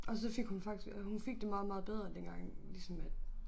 Og så fik hun faktisk øh hun fik det meget meget bedre dengang ligesom at